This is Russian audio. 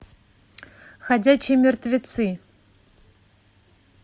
ходячие мертвецы